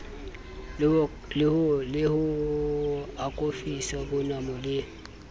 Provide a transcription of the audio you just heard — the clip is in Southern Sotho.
le ho akofisa bonamo le